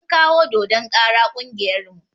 An kawo dodon kara ƙungiyar mu